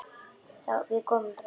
Við komum bráðum.